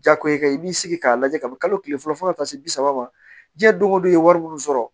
Jako i ka i b'i sigi k'a lajɛ ka bɛn kalo tile fɔlɔ fo ka taa se bi saba ma diɲɛ don ko don i ye wari minnu sɔrɔ